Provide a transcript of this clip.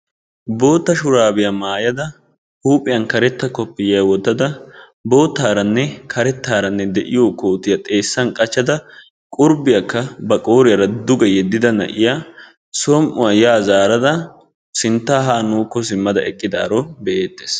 Bootta shuraabiya maayada huuphiyan kareta koppiyiya wottada boottaarana karettarane de'iyo kootiya xeessan qachchada qurbbiyaakka ba qooriyara duge yeddida na'iyaa som'uwa yaa zaarada sintta haa nuukko simmada eqqidaaro be"eettes.